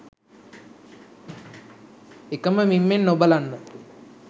එකම මිම්මෙන් නොබලන්න.